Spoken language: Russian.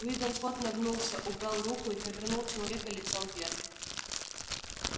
уидон скотт нагнулся убрал руку и повернул человека лицом вверх